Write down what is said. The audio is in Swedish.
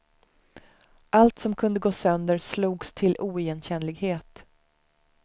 Allt som kunde gå sönder, slogs till oigenkännlighet.